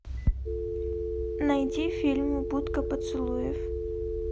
найди фильм будка поцелуев